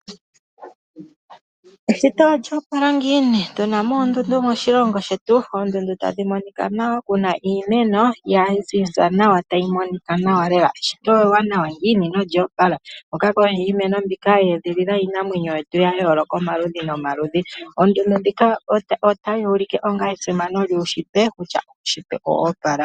Eshito olyo opala ngiini? Otu na mo oondundu moshilongo shetu. Oondundu tadhi monika nawa ku na iimeno ya ziza nawa tayi monika nawa. Eshito ewanawa ngiini nolyo opala. Iimeno mbika oya edhilila iinamwenyo ya yooloka omaludhi nomaludhi. Oondundu ndhika otadhi ulike esimano lyuunshitwe kutya eshito olyo opala.